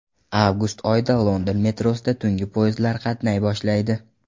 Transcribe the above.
Avgust oyidan London metrosida tungi poyezdlar qatnay boshlaydi.